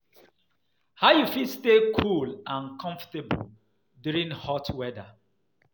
How you fit stay cool and comfortable during hot weather?